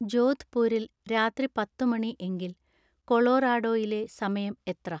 ജോധ്‌പൂരിൽ രാത്രി പത്തുമണി എങ്കിൽ കൊളോറാഡോയിലെ സമയം എത്ര